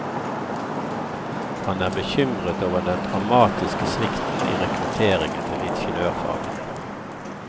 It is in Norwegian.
Han er bekymret over den dramatiske svikten i rekrutteringen til ingeniørfagene.